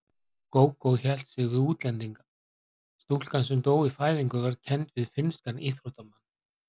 Gógó hélt sig við útlendingana: Stúlka sem dó í fæðingu var kennd við finnskan íþróttamann.